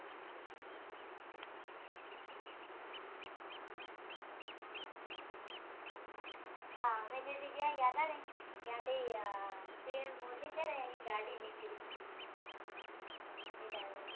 હા અમે જે દિ ગયા તા ને ત્યાં થી આહ પી એમ મોદી છે ને એની ગાડી નીકળી તે તાય્મે